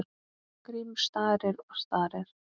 Grímur starir og starir.